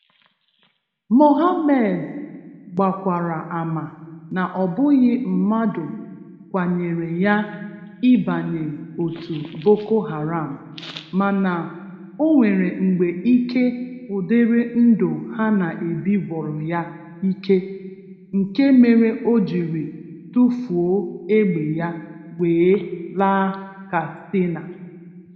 Mohammed gbakwara ama na ọbụghị mmadụ kwanyere ya ịbanye otu Boko Haram, mana onwere mgbe ike ụdịrị ndụ ha na-ebi gwụrụ ya ike, nke mere ojiri tufuo egbe ya wee laa Katsina.